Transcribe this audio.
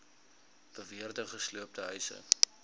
beweerde gesloopte huise